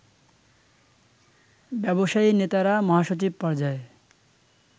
ব্যবসায়ীনেতারা মহাসচিবপর্যায়ে